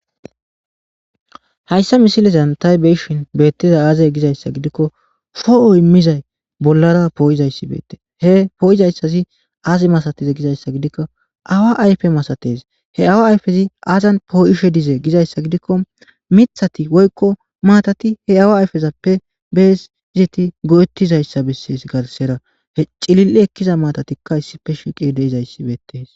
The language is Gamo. hayssa misilezan tay beshin beettiza aazey gizayssa gidikko foho immizay bollara pooyizayssi beette he pooyizayssazi aazi masatize gizayssa gidikko awa ayfe masates he awa ayfezi aazan pooyishe dize gizayssa gidikko mithati woykko maatati he awa ayfezappe besizeti go7ettizayssa besses garsera he cilil7i ekkiza maatatikka issife shiqi deizayssi beetees